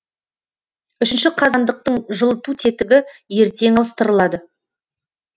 үшінші қазандықтың жылыту тетігі ертең ауыстырылады